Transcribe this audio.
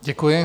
Děkuji.